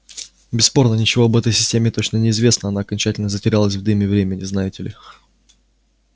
бесспорно ничего об этой системе точно не известно она окончательно затерялась в дыме времени знаете ли